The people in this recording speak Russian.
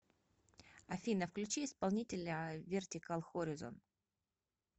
афина включи исполнителя вертикал хоризон